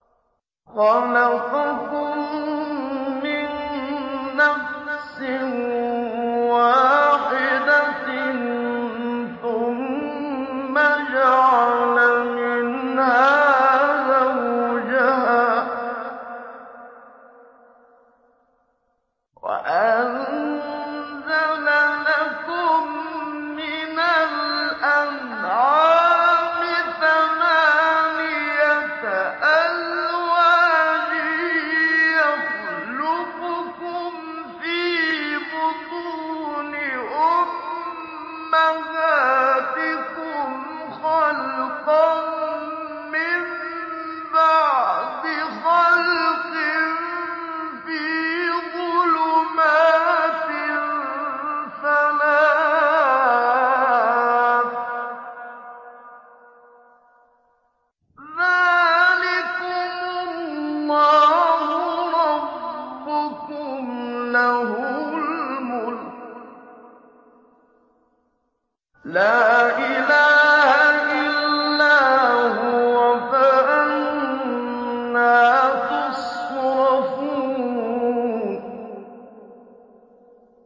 خَلَقَكُم مِّن نَّفْسٍ وَاحِدَةٍ ثُمَّ جَعَلَ مِنْهَا زَوْجَهَا وَأَنزَلَ لَكُم مِّنَ الْأَنْعَامِ ثَمَانِيَةَ أَزْوَاجٍ ۚ يَخْلُقُكُمْ فِي بُطُونِ أُمَّهَاتِكُمْ خَلْقًا مِّن بَعْدِ خَلْقٍ فِي ظُلُمَاتٍ ثَلَاثٍ ۚ ذَٰلِكُمُ اللَّهُ رَبُّكُمْ لَهُ الْمُلْكُ ۖ لَا إِلَٰهَ إِلَّا هُوَ ۖ فَأَنَّىٰ تُصْرَفُونَ